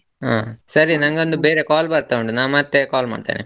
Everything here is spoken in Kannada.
ಹ, ಸರಿ ನಗೊಂದು ಬೇರೆ call ಬರ್ತಾ ಉಂಟು, ನಾನ್ ಮತ್ತೆ call ಮಾಡ್ತೇನೆ.